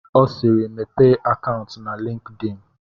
Ọ siiri, Mepee akaụntụ na LinkedIn!